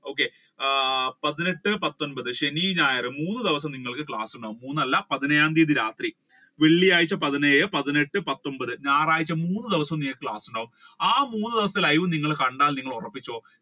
okay ആഹ് പതിനെട്ട് പത്തൊൻപത് ശനി ഞായർ നിങ്ങൾക്ക് മൂന്ന് ദിവസം നിങ്ങൾക്ക് class കൾ ഉണ്ടാകും മൂന്നല്ല പതിനേഴാം തിയതി രാത്രി വെള്ളിയാഴ്ച പതിനേഴ് പതിനെട്ട് പത്തൊൻപത് ഞായറാഴ്ച മൂന്ന് ദിവസം നിങ്ങൾക്ക് class കൾ ഉണ്ടാകും ആ മൂന്ന് ദിവസത്തെ live നിങ്ങൾ കണ്ടാൽ നിങ്ങൾ ഉറപ്പിച്ചോ